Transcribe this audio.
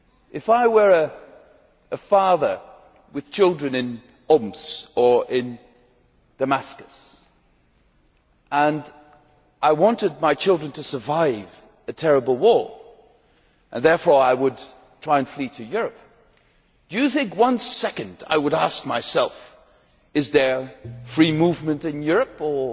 If I were a father with children in Homs or in Damascus and I wanted my children to survive a terrible war and therefore I would try and flee to Europe, do you think that, for one second, I would ask myself, Is there free movement in Europe or